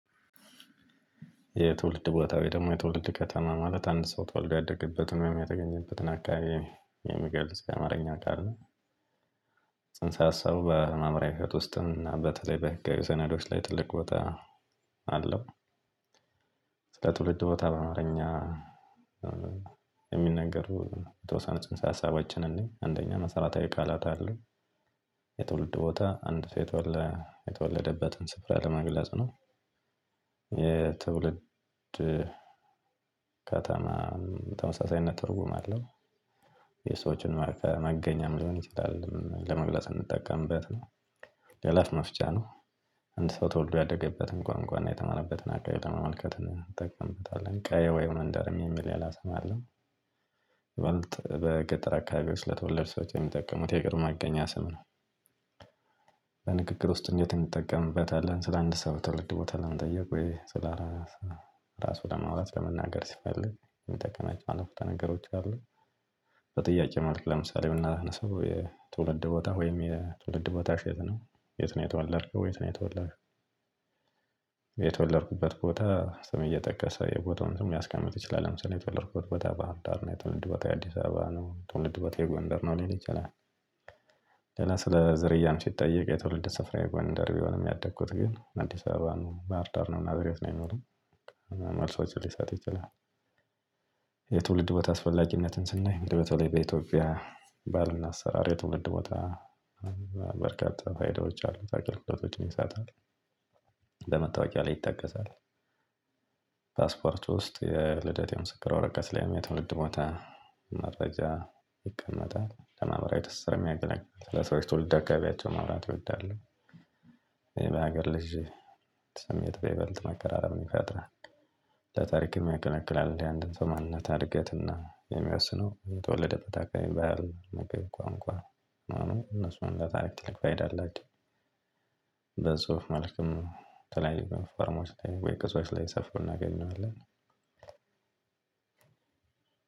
የትውልድ ቦታ ወይ ደግሞ የትውልድ ከተማ ማለት አንድ ሰው ተወልዶ የአደገበትን ወይም የአደግበትን የሚገልጽ ከአማርኛ ቃል ነው። ጽንሰ ሀሳቡ በማምሪያ ህይወት ውስጥ እና በተለይ በህጋዊ ሰነዶች ላይ ትልቅ ቦታ አለው። ስለ ትውልድ ቦታ በአማረኛ የሚነገሩ የተወሰነ ጽንሰ ሀሳባችን እንይ አንደኛ መሰራታዊ ቃላት አለው። የትውልድ ቦታ አንድ ሰው የተወለደበትን ስፍራ ለመግለጽ ነው። የትውልድ ከተማ ተመሳሳይነት ትርጉም አለው። የሰዎችን መገኛም ሊሆን ይችላል ለመግለጽ የምንጠቀምበት ነው። የእለት መፍጫ ነው። አንድ ሰው ተወልዶ ያደገበትን ቋንቋ እና የተማረበትን አገር ለመመልከት እንጠቅምበታለን ቀዬ ወይ መንደር የሚል ሌላ ስም አለ። ይበልጥ በገጠር አካባቢዎች ለተወለድን ሰዎች የሚጠቀሙት የቅርብ ማገኛ ስም ነው። በንግግር ውስጥ እንዴት እንጠቀምበታለን? ስለ አንድ ሰው ትወልድ ቦታ ለመጠየቅ ወይ ስለ ስለ እራሱ ለመውራት ለመናገር ሲፈልግ የምትጠቀማቸው ዓረፍተ ተነገሮች አሉ። በጥያቄ መልክ ለምሳሌ ብናነሰው ትውልድ ቦታ ወይም ትውልድ ቦታሽን የት ነው? የት ነው የተወለድከው የት ነው የተወልደሽው? የተወለድኩበት ቦታ ሰም እየጠቀሰ የቦታውን ሰም ልያስቀምጥ ይችላል። ለምሳሌ የተወለድኩበት በህርዳር የትውልድ ቦታዬ አዲስ አበባ ነው የትውልድ ቦታዬ ጎንደር ነው ሊል ይችላል። ሌላ ስለ ዘርያም ሲጠየቅ የትውልድ ስፍራዬ ጎንደር ቢሆንም ያደግኩት ግን አዲስ አበባ ነው ባህርዳር ነው ናዝሬት ነው የሚሆነው። መልሶችን ሊሰጥ ይችላል። የትውልድ ቦታ አስፈላጊነትን ስናይ እንድው በኢትዮጵያ ባህልና አሰራር የትውልድ ቦታ በርካታ ፋይዳዎች አሉ ለአገልግሎት ይሳታል። ለመታወቂያ ላይ ይጠቀሳል። ፓስፖርት ውስጥ የልደት የምስክር ወረቀት ላይ የትውልድ ቦታ መረጃ ይቀመጣል። ለማህበረዊ ትስስር የሚያገለግል ለሰዎች ትውልድ አከባቢ ማውራት እወዳለሁ። ይሄ በሀገር ልጅ ስሜት በልት መከራረብን ይፈጥራል። ለታሪክ የሚያቀነቅላል እንዲህ አንድ በማንነት አድገትና የሚያስነው የተወለደ ፈታካኝ ባየር ነው መገብ ቋንቋ ነው። እነሱን ለታሪክ ትልቅ ባይዳላችሁ። በጽሁፍ መልክም ተለያየ ፋርማዎች ላይ ወይ ቀስዎች ላይ ሰፍሮ እናገኛለን።